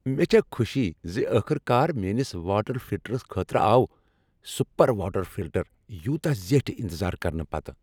مےٚ چھےٚ خوشی زِ ٲخٕر کار میٲنس واٹر فلٹرس خٲطرٕ آو سپیر واٹر فلٹر یوتاہ زیٹھہِ انتظار کرنہٕ پتہٕ۔